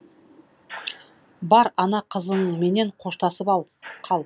бар ана қызыңменен қоштасып қал